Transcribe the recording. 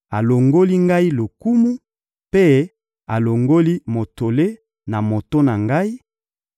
alongoli ngai lokumu, mpe alongoli motole na moto na ngai,